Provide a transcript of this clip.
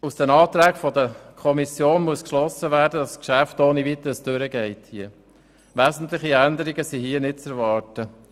Aus den Anträgen der Kommission muss geschlossen werden, dass das Geschäft hier ohne wesentliche Änderungen einfach durchgehen wird.